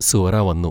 സുഹ്റാ വന്നു.